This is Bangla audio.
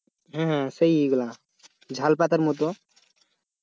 হম হম সেই ই গুলা ঝাল পাতার মতন